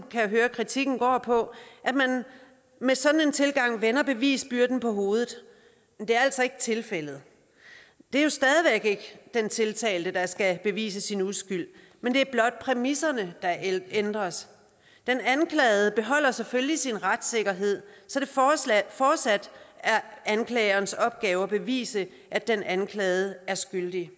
kan høre kritikken går på at man med sådan en tilgang vender bevisbyrden på hovedet men det er altså ikke tilfældet det er jo stadig væk den tiltalte der skal bevise sin uskyld men det er blot præmisserne der ændres den anklagede beholder selvfølgelig sin retssikkerhed så det fortsat er anklagerens opgave at bevise at den anklagede er skyldig